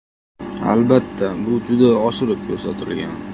Albatta, bu juda oshirib ko‘rsatilgan.